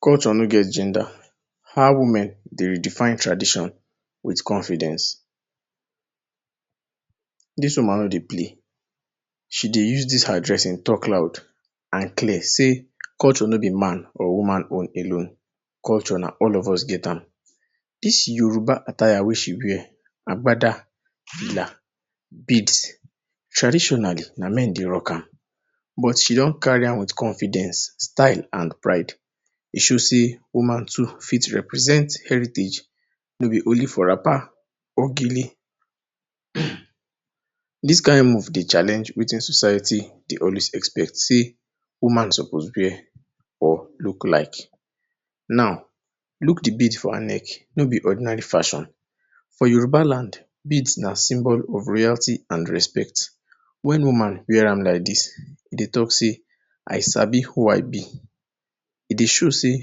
Culture nor get gender, how women dey redefine tradition with confidence. Dis woman nor dey play, she dey use dis her dressing talk loud and clear say culture nor be man or woman own alone, culture na all of us get am. Dis Yoruba attire wey she wear agbada la beads traditionally na men dey rock am but she don carry am with confidence, style and pride. E show sey woman too fit represent heritage, nor be only for wrapper or gele. Um dis kind aim dey challenge wetin society dey always expect sey woman suppose wear or look like. Now look de bead for her neck nor be ordinary fashion, for Yoruba land beads na symbol of royalty and respect, were no man wear am like dis e dey talk sey I sabi who I be, e dey show sey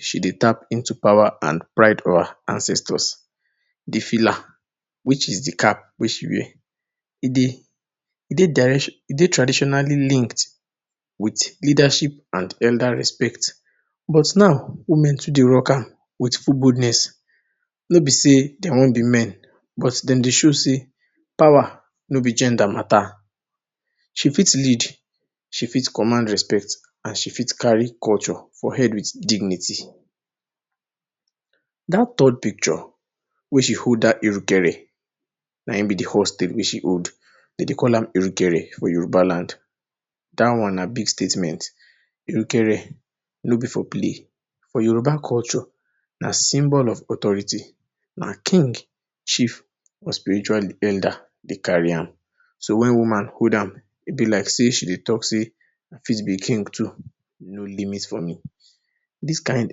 she dey tap into de power and pride or ancestors. De filla which is de cap wey she wear e dey e dey direction? e dey traditionally linked with leadership and gender respect but now women too dey rock am with full boldness, nor be sey dem want be men but dem dey show sey power nor be gender matter, she fit lead, she fit command respect and she fit carry culture for head with dignity. Dat third picture wey she hold dat erugere na im be de horse tail wey she hold, dem dey call am erugere for Yoruba land, dat one na big statement, erugere nor be for play, for Yoruba culture na symbol of authority na king, chief or spiritual? leader dey carry am. So wen woman hold am e be like sey she dey talk sey I fit be king too no limit for me. Dis kind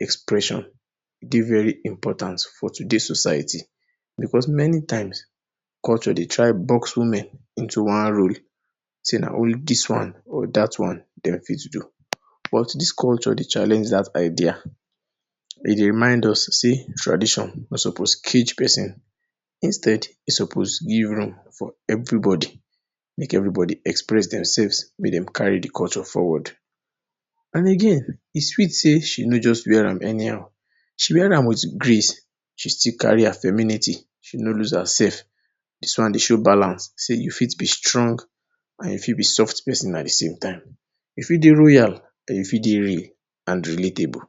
expression dey very important for today society, because many times culture dey try box women into one role, sey na only dis one or dat one dem fit do but dis culture dey challenge dat idea, e dey remind us sey tradition nor suppose cage person but instead e suppose give room for everybody, make everybody express themselves make dem carry de culture forward and again e sweet sey she nor just wear am anyhow, she wear with grace, she still carry her femininity, she nor loose herself. Dis one dey show balance sey you fit be strong and you fit be soft person at de same time, you fit dey royal and you fit dey real and relatable.